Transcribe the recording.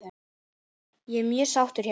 Ég er mjög sáttur hérna.